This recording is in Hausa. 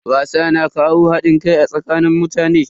Wasa na kawo hadin kai a tsakanin mutane.